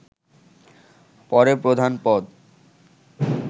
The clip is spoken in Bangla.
পরে প্রধান পদ